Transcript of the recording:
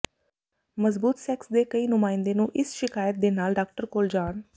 ਮਜ਼ਬੂਤ ਸੈਕਸ ਦੇ ਕਈ ਨੁਮਾਇੰਦੇ ਨੂੰ ਇਸ ਸ਼ਿਕਾਇਤ ਦੇ ਨਾਲ ਡਾਕਟਰ ਕੋਲ ਜਾਣ